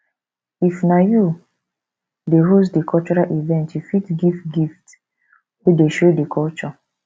if na you dey host di cultural event you fit give gift wey dey show di culture